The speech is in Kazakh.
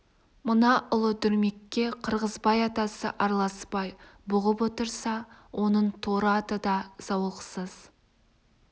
мына ұлы дүрмекке қырғызбай атасы араласпай бұғып отырса оның торы аты да зауықсыз